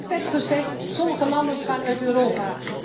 Want net werd gezegd sommige landen gaan uit Europa.